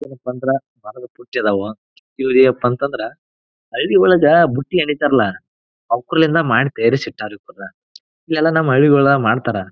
ಏನಪ್ಪಾ ಅಂದ್ರ ಮಾಡೋದಕ್ ಬುಟ್ಟಿದವ ಇವ್ರ್ ಏನಪ್ಪಾ ಅಂದ್ರ ಹಳ್ಳಿ ಒಳಗ ಬುಟ್ಟಿ ಎಣಿತಾರಲ್ಲ ಔಕ್ಕರ್ಳಿಂದ ಮಾಡಿ ತೀರಿಸಿ ಇಟ್ಟರ ಇವನ್ನ. ಇದೆಲ್ಲ ನಮ್ ಹಳ್ಳಿಗೋಳ ಮಾಡ್ತಾರಾ.